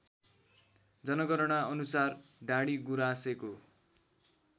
जनगणना अनुसार डाडीगुराँसेको